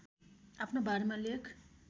आफ्नो बारेमा लेख